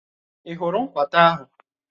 Ị́ hụrụ nkwata ahụ?